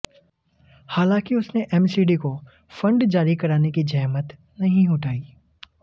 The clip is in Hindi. हालांकि उसने एमसीडी को फंड जारी कराने की जहमत नहीं उठाई